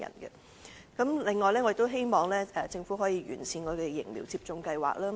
此外，我也希望政府能夠完善疫苗接種計劃。